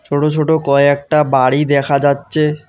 ছোট ছোট কয়েকটা বাড়ি দেখা যাচ্ছে।